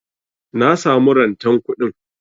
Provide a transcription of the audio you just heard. Na samu rantan kuɗin.